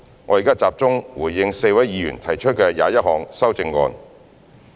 我現在集中回應4位議員提出的21項修正案。